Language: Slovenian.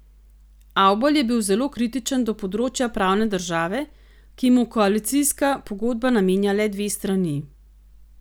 Avbelj je bil zelo kritičen do področja pravne države, ki mu koalicijska pogodba namenja le dve strani.